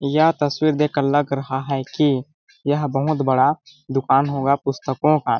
यह तस्वीर देखकर लग रहा है कि यह बहुत बड़ा दुकान होगा पुस्तकों का --